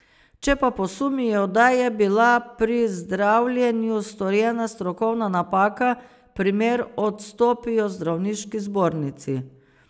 Če pa posumijo, da je bila pri zdravljenju storjena strokovna napaka, primer odstopijo zdravniški zbornici.